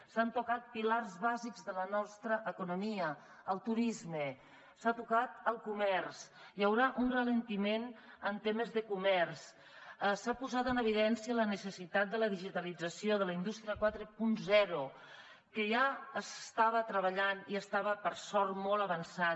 s’han tocat pilars bàsics de la nostra economia el turisme s’ha tocat el comerç hi haurà un alentiment en temes de comerç s’ha posat en evidència la necessitat de la digitalització de la indústria quaranta que ja s’estava treballant i estava per sort molt avançat